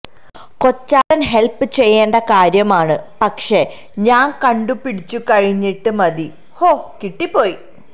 കൊച്ചാട്ടൻ help ചെയ്യേണ്ട കാര്യം ആണ് പക്ഷെ ഞാൻ കണ്ടു പിടിച്ചു കഴിഞ്ഞിട്ട് മതി ഹോ കിട്ടിപ്പോയി